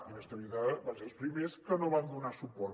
inestabilitat van ser els primers que no hi van donar suport